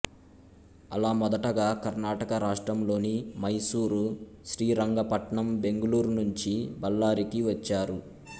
అలా మొదటగా కర్ణాటక రాష్ట్రంలోని మైసూరు శ్రీరంగపట్నం బెంగుళూరు నుంచి బళ్లారికి వచ్చారు